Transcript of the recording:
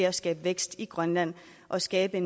at skabe vækst i grønland og skabe